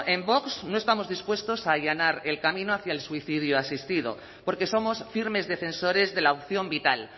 en vox no estamos dispuestos a allanar el camino hacia el suicidio asistido porque somos firmes defensores de la opción vital